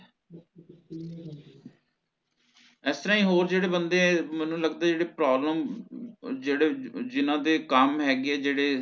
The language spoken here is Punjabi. ਇਸ ਤਰਹ ਹੋਰ ਜੇਹੜੇ ਬੰਦੇ ਹੈ ਮੈਨੂ ਲਗਦਾ ਜੇਹੜੇ problem ਜਿਹੜੇ ਜਿੰਨਾ ਦੇ ਕੰਮ ਹੈਗੇ ਹੈ ਜੇਹੜੇ